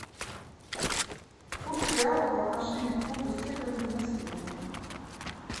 курс реала по отношению к фунту стерлингу на сегодня